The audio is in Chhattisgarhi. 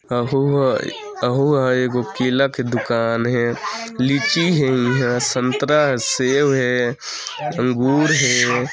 अहु ह अहु ह एगो केला की दुकान हे लीची हे इहाँ संतरा सेव हे अन्गुर हे ।